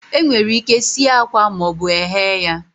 Enwere ike sie akwa ma ọ bụ eghe ya